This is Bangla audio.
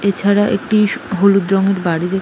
এছাড়া একটি হলুদ রঙের বাড়ি দেখ--